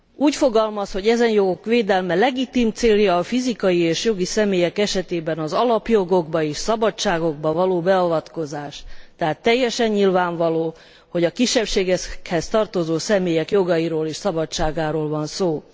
Úgy fogalmaz, hogy ezen jogok védelme legitim célja a fizikai és jogi személyek esetében az alapjogokba és szabadságokba való beavatkozás, tehát teljesen nyilvánvaló, hogy a kisebbségekhez tartozó személyek jogairól és szabadságáról van szó.